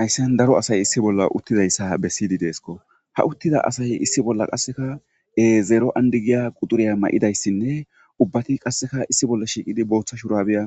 hayssan daro asay issi bolla uttidayssa bessiydi deesko ha uttida asay issi bolla qasseka e zeero andi giya quxureya mayidayssinne ubbati qasseka issi bolla shiiqidi booththa shurabiya